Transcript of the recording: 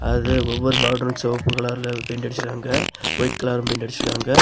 அதுல ஒவ்வொரு பாட்ரும் சிவப்பு கலர்ல பெயிண்ட் அடிச்சுருக்காங்க ஒயிட் கலரும் பெயிண்ட் அடிச்சுருக்காங்க.